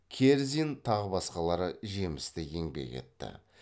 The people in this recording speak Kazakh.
керзин тағы басқалары жемісті еңбек етті